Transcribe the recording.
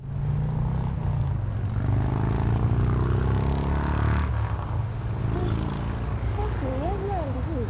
ହଃ ତମ seniors ନାହାନ୍ତି କି?